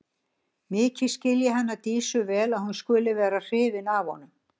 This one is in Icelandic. Mikið skil ég hana Dísu vel að hún skuli vera hrifin af honum.